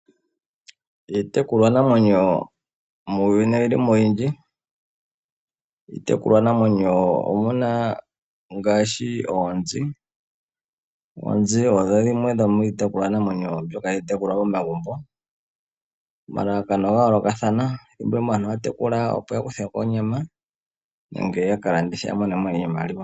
Iitekulwanamwenyo muuyuni oyili mo oyindji. Iitekulwanamwenyo omuna ngaashi oonzi. Oonzi odho dhimwe dhomiitekulwa namwenyo mbyoka hayi tekulwa momagumbo. Omalalakano oga yoolokathana, thimbo limwe aantu ohaya tekula opo yakuthemo onyama nenge yaka landithe opo yamonemo iimaliwa.